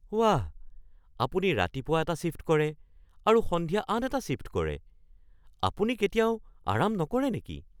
ৱাহ! আপুনি ৰাতিপুৱা এটা শ্বিফ্ট কৰে আৰু সন্ধিয়া আন এটা শ্বিফ্ট কৰে! আপুনি কেতিয়াও আৰাম নকৰে নেকি?